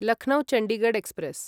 Lucknow Chandigarh express